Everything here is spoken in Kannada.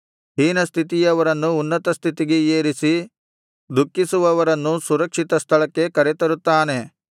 ಹೀನಸ್ಥಿತಿಯವರನ್ನು ಉನ್ನತಸ್ಥಿತಿಗೆ ಏರಿಸಿ ದುಃಖಿಸುವವರನ್ನು ಸುರಕ್ಷಿತ ಸ್ಥಳಕ್ಕೆ ಕರೆತರುತ್ತಾನೆ